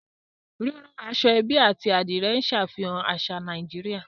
Rírán aṣọ-ẹ́bí àti Adìrẹ̀ ń ṣàfihàn àṣà Nàìjíríà